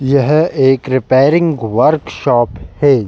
यह एक repairing workshop है।